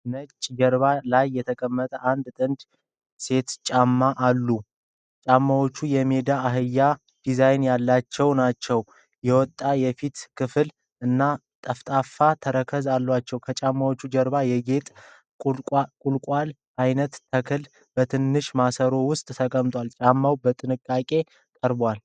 ነጭ ጀርባ ላይ የተቀመጡ አንድ ጥንድ ሴቶች ጫማ አሉ። ጫማዎቹ የሜዳ አህያ ዲዛይን ያላቸው ናቸው። የወጣ የፊት ክፍል እና ጠፍጣፋ ተረከዝ አላቸው። ከጫማዎቹ ጀርባ የጌጣጌጥ ቁልቋል ዓይነት ተክል በትንሽ ማሰሮ ውስጥ ተቀምጧል። ጫማዎቹ በጥንቃቄ ቀርበዋል።